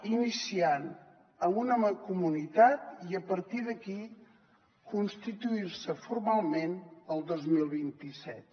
iniciar amb una mancomunitat i a partir d’aquí constituir se formalment el dos mil vint set